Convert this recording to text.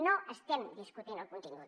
no estem discutint el contingut